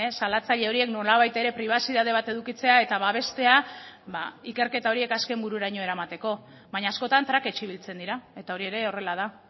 salatzaile horiek nolabait ere pribazitate bat edukitzea eta babestea ikerketa horiek azken bururaino eramateko baina askotan trakets ibiltzen dira eta hori ere horrela da